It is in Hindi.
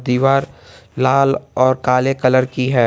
दीवार लाल और काले कलर की है।